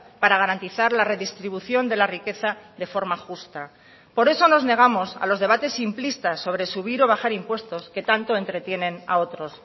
para garantizar la redistribución de la riqueza de forma justa por eso nos negamos a los debates simplistas sobre subir o bajar impuestos que tanto entretienen a otros